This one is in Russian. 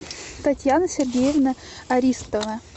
татьяна сергеевна аристова